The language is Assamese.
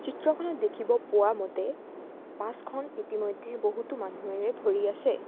চিত্ৰখনত দেখিব পোৱা মতে বাছ খন ইতিমধ্যে বহুতো মানুহেৰে ভৰি আছে।